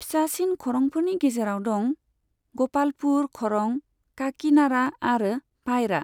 फिसासिन खरंफोरनि गेजेराव दं ग'पालपुर खरं, काकीनाडा आरो पायरा।